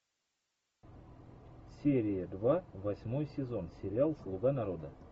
серия два восьмой сезон сериал слуга народа